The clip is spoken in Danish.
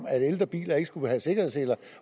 at ældre biler ikke skulle have sikkerhedssele